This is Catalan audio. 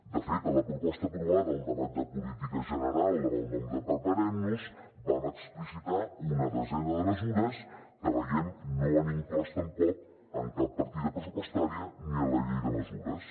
de fet a la proposta aprovada al debat de política general amb el nom de preparem nos vam explicitar una desena de mesures que veiem que no han inclòs tampoc en cap partida pressupostària ni a la llei de mesures